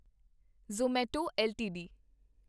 Zomato LTD